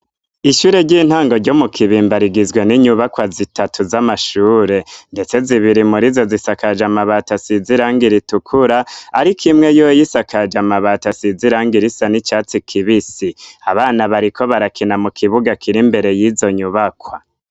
Ishure ry'intango ryo mu Kibimba rigizwe n'inyubakwa zitatu z'amashure, ndetse zibiri muri izo zisakaje amabati asize irangi ritukura, ariko imwe yoyo isakaje amabati asize iranga risa n'icatsi kibisi, abana bariko barakina mu kibuga kiri imbere yizo nyubakwa.